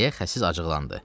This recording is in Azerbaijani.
Deyə xəsis acıqlandı.